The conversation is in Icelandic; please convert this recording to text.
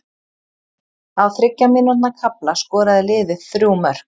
Á þriggja mínútna kafla skoraði liðið þrjú mörk.